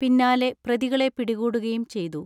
പിന്നാലെ പ്രതികളെ പിടികൂടുകയും ചെയ്തു.